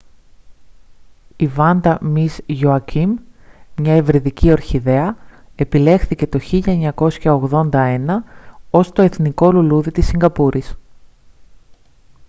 η vanda miss joaquim μια υβριδική ορχιδέα επιλέχθηκε το 1981 ως το εθνικό λουλούδι της σιγκαπούρης